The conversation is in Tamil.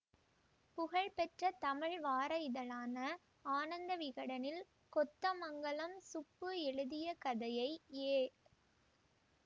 புகழ்பெற்ற தமிழ் வார இதழான ஆனந்த விகடனில் கொத்தமங்கலம் சுப்பு எழுதிய கதையை ஏ